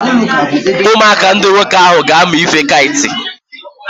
Ụmụaka ndị nwoke ahụ ga-amụ ife kait.